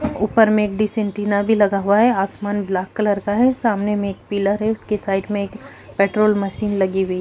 ऊपर में एक डिश एंटीना भी लगा हुआ है। आसमान ब्लैक कलर का है। सामने में एक पिलर है। उसके साइड में एक पेट्रोल मशीन लगी हुई --